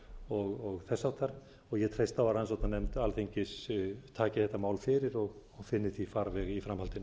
og þess háttar ég treysti á að rannsóknarnefnd alþingis taki þetta mál fyrir og finni því farveg í framhaldinu